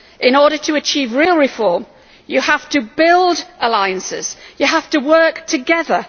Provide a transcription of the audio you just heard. In order to achieve real reform, you have to build alliances and work together